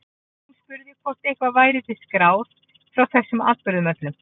Jón spurði hvort eitthvað væri til skráð frá þessum atburðum öllum.